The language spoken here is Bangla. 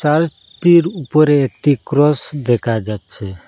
চার্চটির উপরে একটি ক্রস দেখা যাচ্ছে।